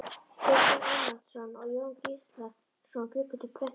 Kristinn Ármannsson og Jón Gíslason bjuggu til prentunar.